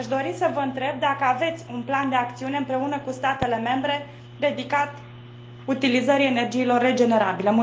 Aș dori să vă întreb dacă aveți un plan de acțiune, împreună cu statele membre, dedicat utilizării energiilor regenerabile